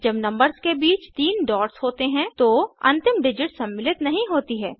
जब नंबर्स के बीच 3 डॉट्स होते हैं तो अंतिम डिजिट सम्मिलित नहीं होती है